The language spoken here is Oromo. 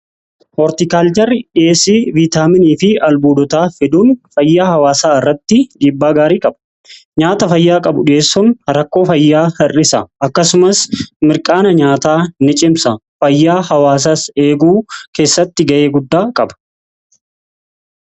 Hoortikaalcharri dhiyeessii viitaaminii fi albuudotaa fiduun fayyaa hawaasaa irratti dhiibbaa gaarii qaba. Nyaata fayyaa qabu dhiyeessuun rakkoo fayyaa hir'isa. Akkasumas mirqaana nyaataa ni cimsa fayyaa hawaasa eeguu keessatti ga'ee guddaa qaba.